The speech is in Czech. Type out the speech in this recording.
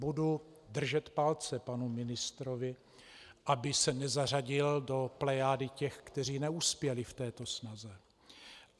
Budu držet palce panu ministrovi, aby se nezařadil do plejády těch, kteří neuspěli v této snaze.